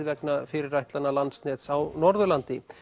vegna fyrirætlana Landsnets á Norðurlandi